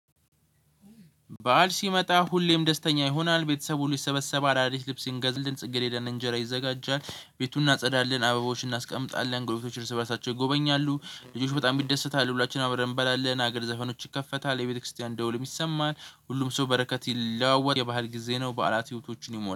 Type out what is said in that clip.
በዓል ሲመጣ ሁሌም ደስተኛ ይሆናል። ቤተሰቡ ሁሉ ይሰበሰባል። አዳዲስ ልብስ እንገዛለን፤ ጽጌሬዳ እና እንጀራ ይዘጋጃል። ቤቱን እናጸዳለን። አበቦችን እናስቀምጣለን። ጎረቤቶች ርዕሰ በራሳቸው ይጎበኛሉ። ልጆች በጣም ይደሰታሉ። ሁላችንም አብረን እንበላለን። ሀገር ዘፈኖች ይከፈታል። የቤተክርስቲያን ደውልም ይሰማል። ሁሉም ሰው በረከት ይለዋወጣል። የባህል ጊዜ ነው። በዓላት ህይወቶችን ይሞላል።